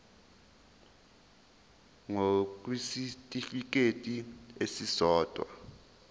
ngur kwisitifikedi esisodwa